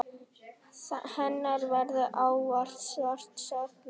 Hennar verður ávallt sárt saknað.